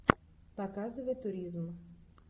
показывай туризм